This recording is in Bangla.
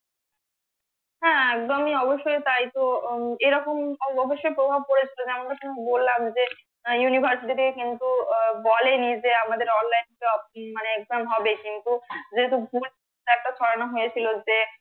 হ্যাঁ একদমই তাই তো এরকম অবশ্য প্রভাব পড়েছে আমি তো তোমাকে বললাম যে university তে কিন্তু বলেনি যে আমাদের online আহ মানে exam হবে কিন্তু যেহেতু ভুল একটা ধরানো হয়েছে যে